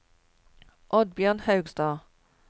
Oddbjørn Haugstad